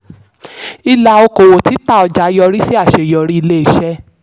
ìlà okòwò títà ọjà yọrí sí àṣeyọrí ilé-iṣẹ́.